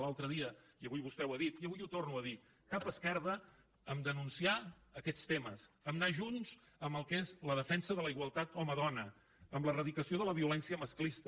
l’altre dia i avui vostè ho ha dit i avui ho torno a dir cap esquerda a denunciar aquests temes a anar junts en el que és la defensa de la igualtat home dona en l’eradicació de la violència masclista